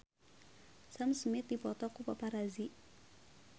Sam Smith dipoto ku paparazi